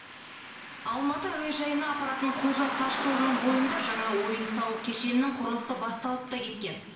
алматы әуежайына апаратын құлжа тасжолының бойында жаңа ойын сауық кешенінің құрылысы басталып та кеткен